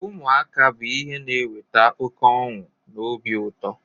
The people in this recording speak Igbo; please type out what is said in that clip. Ụmụaka bụ ihe na-eweta oke ọnụ na obi ụto.